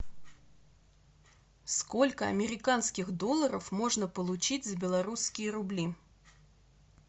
сколько американских долларов можно получить за белорусские рубли